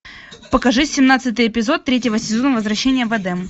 покажи семнадцатый эпизод третьего сезона возвращение в эдем